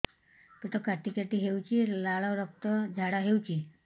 ପେଟ କାଟି କାଟି ହେଉଛି ଲାଳ ରକ୍ତ ଝାଡା ହେଉଛି